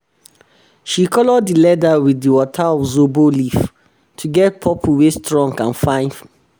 she color di leather wit di water of zobo leaf to get purple wey strong and fine! fine!